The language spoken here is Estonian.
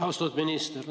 Austatud minister!